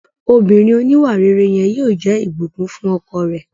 Obìnrin òníwàrere yẹn yóò jẹ́ Ìbùkún fún ọkọ rẹ̀